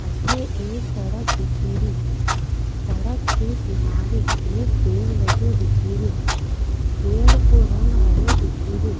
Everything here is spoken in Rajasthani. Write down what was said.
अठे एक सड़क दिखेरी सड़क के किनारे एक पेड़ लग्यो दिखे रो पेड़ को रंग हरो दिखेरो।